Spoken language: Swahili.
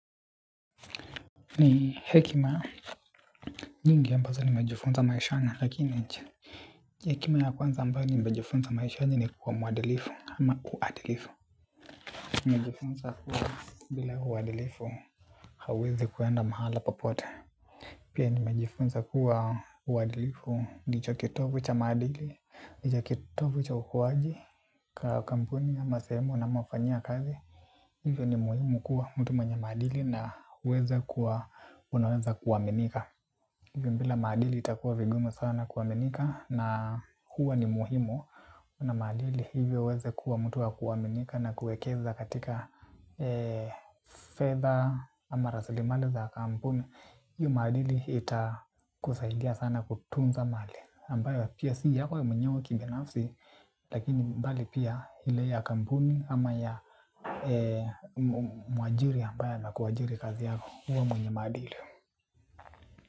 Ni hekima, nyingi ambazo nimejifunza maishani, lakini hekima ya kwanza ambayo nimejifunza maishani ni kuwa mwadilifu ama uadilifu. Nimejifunza kuwa bila uadilifu hauwezi kuenda mahala popote. Pia nimejifunza kuwa uadilifu ndicho kitovu cha maadili, ndicho kitovu cha ukuaji kwa kampuni ama sehemu unamofanyia kazi. Hivyo ni muhimu kuwa mtu mwenye maadili na kuweza kuwa, unaweza kuaminika. Bila maadili itakuwa vigumu sana kuaminika na huwa ni muhimu uwe na maadili hivyo uweze kuwa mtu wa kuaminika na kuwekeza katika fedha ama rasilimali za kampuni. Hiyo maadili itakusaidia sana kutunza mali ambayo pia si yako ya mwenyewe kibinafsi lakini mbali pia ile ya kampuni ama ya mwajiri ambaye anakuajiri kazi yako huwa mwenye maadili.